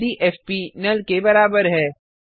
यदि FP null के बराबर है